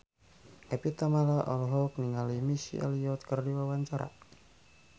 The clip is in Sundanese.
Evie Tamala olohok ningali Missy Elliott keur diwawancara